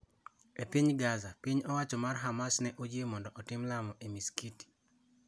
E piny Gaza, piny owacho mar Hamas ne oyie mondo otim lamo e masikiti